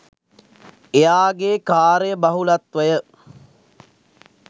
එයාගේ කාර්යබහුලත්වය